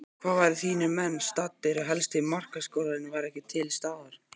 Hvar væru þínir menn staddir ef helsti markaskorarinn væri ekki til staðar?